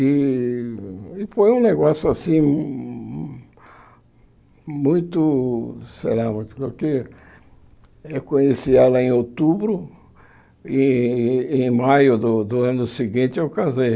E e foi um negócio assim, muito, sei lá, muito porque eu conheci ela em outubro e em maio do do ano seguinte eu casei.